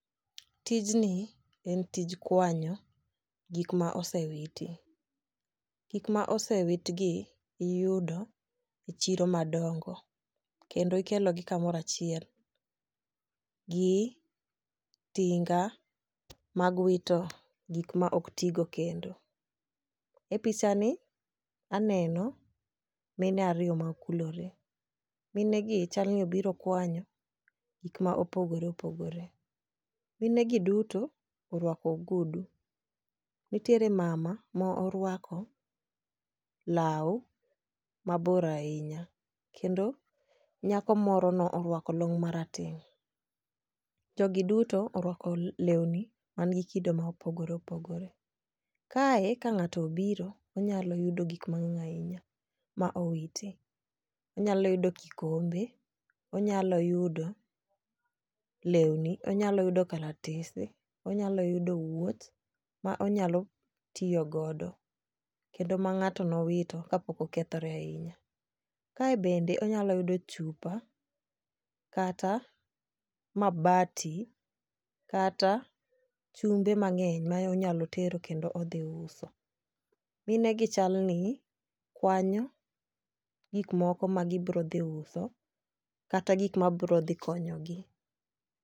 Tijni en tij kwanyo gik ma osewiti. Gik ma osewitgi iyudo e chiro madongo kendo ikelo gi kamorachiel gi tinga mag wito gik ma ok tigo kendo . E picha ni aneno mine ariyo ma okulore, mine gi chal ni obiro kwanyo gik ma opogore opogore mine gi duto orwako ogudu . Nitiere mama ma orwako law mabor ahinya kendo nyako moro no orwako long marateng' . Jogi duto orwako lewni man gi kido ma opogore opogore kae ka ng'ato obiro onyalo yudo gik mang'eny ahinya ma owito onyalo yudo kikombe, onyalo yudo lewni ,onyalo yudo kalatese onyalo yudo wuoch ma onyalo tiyo godoo kendo ma ng'ato nowito ka pok okethore ahinya. Kae bende onyalo yudo chupa kata mabati kata chumbe mang'eny ma onyalo tero kendo odhi uso. Mine gi chalo ni kwanyo gik moko ma gibro dhi uso kata gik mabro dhi konyo gi.